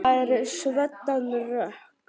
Það er svoddan rok.